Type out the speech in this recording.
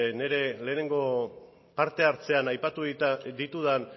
nire lehenengo parte hartzean aipatu ditudan